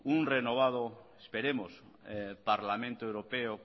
un renovado esperemos parlamento europeo